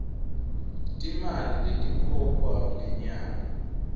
timali letikhokhwa ngenyanga